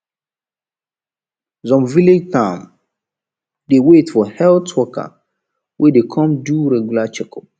some village town dey wait for health worker wey dey come do regular checkup